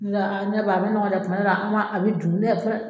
Nga i ɲɛ ba a mɛ nɔgɔn dɛ tuma dɔ la an b'a a bɛ dun